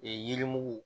Ee yirimugu